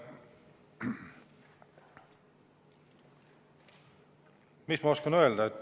Mis ma oskan öelda?